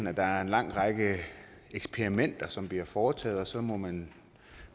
at der er en lang række eksperimenter som bliver foretaget og så må man